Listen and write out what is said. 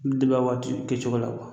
O bi waati kɛcogo la